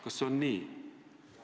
Kas see on nii?